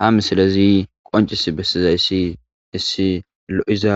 ha misilezi qoncis bessizayssi issi lo7iza